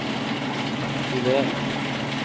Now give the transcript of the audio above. aktiver